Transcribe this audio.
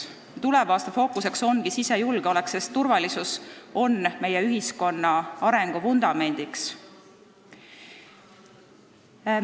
Tuleva aasta fookus ongi sisejulgeolek, sest turvalisus on meie ühiskonna arengu vundament.